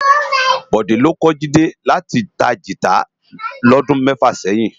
Bode ló kò Jide láti tá gitá lòdún mèfá sèyin